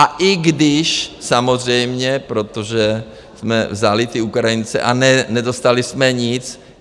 A i když samozřejmě, protože jsme vzali ty Ukrajince a nedostali jsme nic.